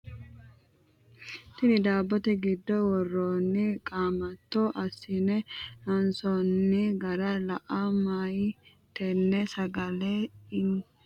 Tinni daabote gido woroonni qaamato asinne loonsoonni gara lae mayi tenne sagale ittola yee lowo geesha halchoomo tenne sagale babbaxitino muronni loonsoonnite.